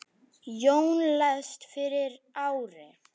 Jón lést fyrir ári.